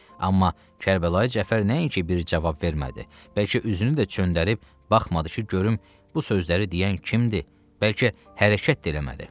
Amma Kərbəlayı Cəfər nəinki bir cavab vermədi, bəlkə üzünü də çöndərib baxmadı ki, görüm bu sözləri deyən kim idi, bəlkə hərəkət də eləmədi.